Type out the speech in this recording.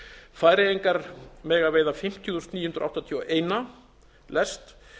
færeyingar mega veiða fimmtíu þúsund níu hundruð áttatíu og eitt lest